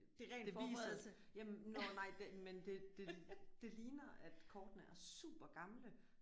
Det viser jamen nåh nej det men det det det ligner at kortene er super gamle